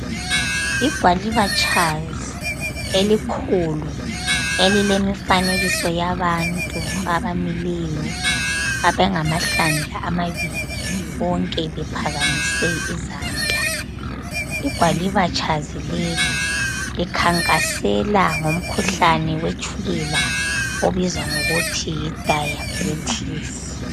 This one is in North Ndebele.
Igwalibatshazi elikhulu elilemfanekiso yabantu abamileyo abangamahlandla amabili bonke bephakamise izandla , igwalibatshazi leli likhankasela ngomkhuhlane wetshukela obizwa ngokuthi yi diabetes